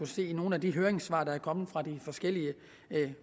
se i nogle af de høringssvar der er kommet fra de forskellige